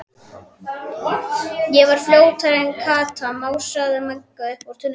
Ég var fljótari en Kata, másaði Magga upp úr tunnunni.